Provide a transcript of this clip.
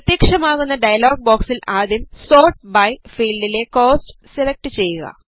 പ്രത്യക്ഷമാകുന്ന dialog ബോക്സിൽ ആദ്യം sort by ഫീൽഡിലെ കോസ്റ്റ് സെലക്ട് ചെയ്യുക